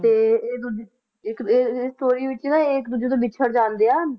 ਤੇ ਇਹ ਦੂਜੇ ਇੱਕ ਦੂ ਇਹ story ਵਿੱਚ ਨਾ ਇਹ ਇੱਕ ਦੂਜੇ ਤੋਂ ਵਿਛੜ ਜਾਂਦੇ ਆ